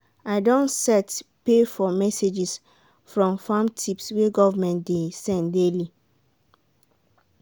i don set pay for messages from farm tips wey government dey send daily.